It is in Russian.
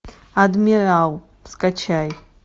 адмирал скачай